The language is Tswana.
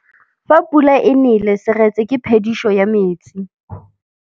Fa pula e nelê serêtsê ke phêdisô ya metsi.